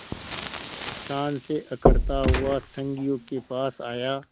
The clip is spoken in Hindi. शान से अकड़ता हुआ संगियों के पास आया